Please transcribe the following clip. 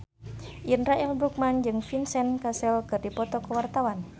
Indra L. Bruggman jeung Vincent Cassel keur dipoto ku wartawan